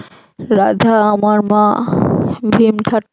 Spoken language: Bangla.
রাধা আমার মা ভীম